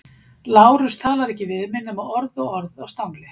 Lárus talar ekki við mig nema orð og orð á stangli.